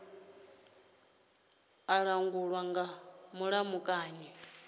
a langulwa nga mulamukanyi hu